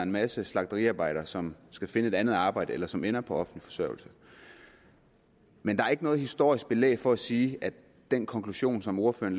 masse slagteriarbejdere som skal finde andet arbejde eller som ender på offentlig forsørgelse men der er ikke noget historisk belæg for at sige at den konklusion som ordføreren